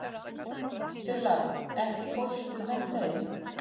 En hugsum okkur að slökknaði á möttulstróknum en gliðnun héldi áfram.